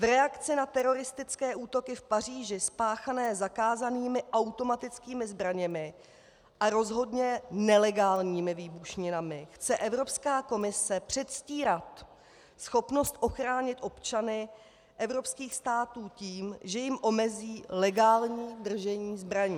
V reakci na teroristické útoky v Paříži spáchané zakázanými automatickými zbraněmi a rozhodně nelegálními výbušninami chce Evropská komise předstírat schopnost ochránit občany evropských států tím, že jim omezí legální držení zbraní.